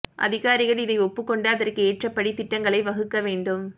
அதிகாரிகள் இதை ஒப்புக்கொண்டு அதற்கு ஏற்றபடி திட்டங்களை வகுக்க வேண்டும்